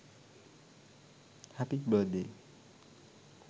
happy birth day